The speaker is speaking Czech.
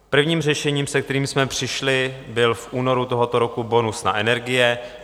Prvním řešením, se kterým jsme přišli, byl v únoru tohoto roku bonus na energie.